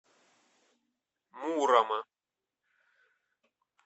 мурома